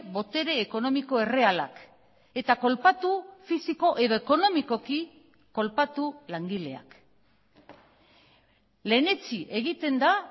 botere ekonomiko errealak eta kolpatu fisiko edo ekonomikoki kolpatu langileak lehenetsi egiten da